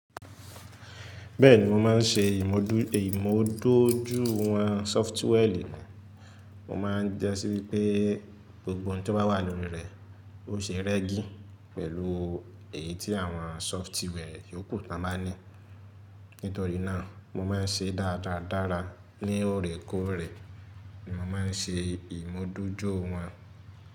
Bẹ́ẹ̀ni mo máa ń ṣe ìmú dójúìwọ̀n sọfitiwẹ̀lì mi. Mo máa ń jẹ́ sí wípé gbogbo ohun tó bá wà lórí rẹ̀ o ṣe rẹ́gí pẹ̀lú èyí tí àwọn sọfitiwẹ̀lì yòókù tó máa ń ní. Nítorí náà mo máa ń ṣe dáradára dára ní ọ̀rẹ́kọ̀ọ̀rẹ́ ni mo máa ń ṣe ìmú dójúìwọ̀n.